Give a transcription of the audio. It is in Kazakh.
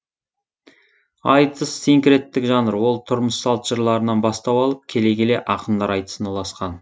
айтыс синкреттік жанр ол тұрмыс салт жырларынан бастау алып келе келе ақындар айтысына ұласқан